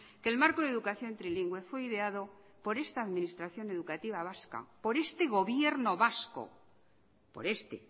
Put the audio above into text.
que el marco de educación trilingüe fue ideado por esta administración educativa vasca por este gobierno vasco por este